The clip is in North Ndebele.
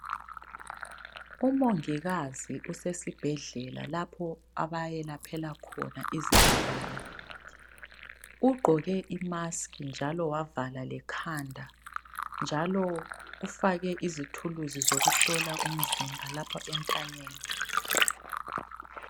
Umongikazi usesibhendlela lapho abayelaphela khona izigulane. Ugqoke imasiki njalo wavala lekhanda, njalo ufake izithuluzi zokuhlola umzimba lapha entanyeni.